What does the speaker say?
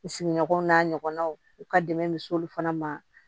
N sigiɲɔgɔnw n'a ɲɔgɔnnaw u ka dɛmɛ bɛ s'olu fana ma